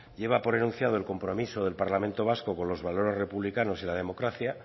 lleva por enunciado el compromiso del parlamento vasco con los valores republicanos y la democracia